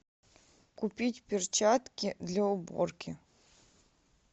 купить перчатки для уборки